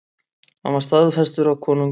Hann var staðfestur af konungi.